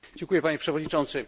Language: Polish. Panie Przewodniczący!